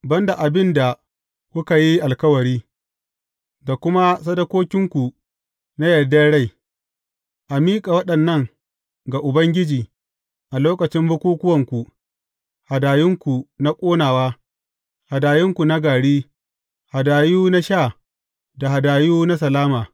Ban da abin da kuka yi alkawari, da kuma sadakokinku na yardar rai, a miƙa waɗannan ga Ubangiji a lokacin bukukkuwanku, hadayunku na ƙonawa, hadayu na gari, hadayu na sha da hadayu na salama.’